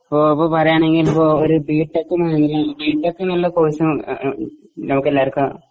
ഇപ്പൊ ഇപ്പൊ പറയാണെങ്കിൽ ഇപ്പൊ ഒരു ബിടെക് ബിടെക് എന്നുള്ള കോഴ്സ് നമുക്കെല്ലാർക്കും